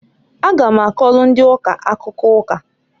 A ga m akọlụ ndị ụka akụkọ ụka.